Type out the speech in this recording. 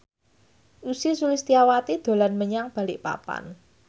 Ussy Sulistyawati dolan menyang Balikpapan